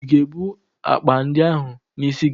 Ị ga-ebu akpa ndị ahụ n'isi gị?